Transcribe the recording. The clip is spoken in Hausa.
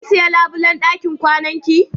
Kin siya labulen ɗakin kwanan ki?